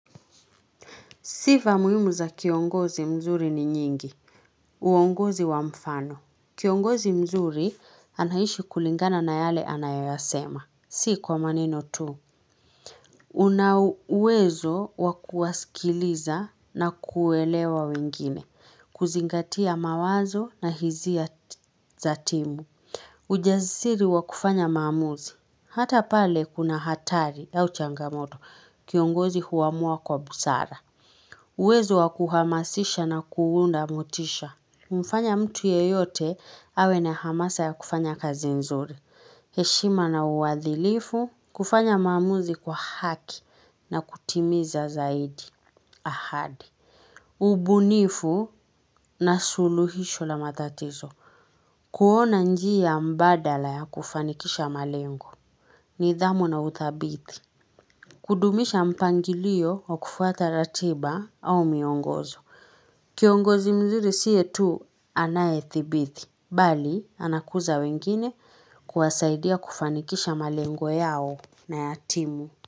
Sifa muhimu za kiongozi mzuri ni nyingi. Uongozi wa mfano. Kiongozi mzuri anaishi kulingana na yale anayoyasema. Si kwa maneno tu. Una uwezo wakuwasikiliza na kuelewa wengine. Kuzingatia mawazo na hisia za timu. Ujasiri wa kufanya maamuzi. Hata pale kuna hatari au changamoto. Kiongozi huamua kwa busara. Uwezo wa kuhamasisha na kuunda motisha. Mfanya mtu yeyote, awe na hamasa ya kufanya kazi nzuri. Heshima na uwadhilifu, kufanya maamuzi kwa haki na kutimiza zaidi. Ahadi. Ubunifu na suluhisho la matatizo. Kuona njia mbadala ya kufanikisha malengo. Nidhamu na utabithi. Kudumisha mpangilio wa kufuata ratiba au miongozo. Kiongozi mzuri siye tu anayethibithi, bali anakuza wengine kuwasaidia kufanikisha malengo yao na yat imu.